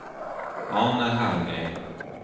Arne Hallgren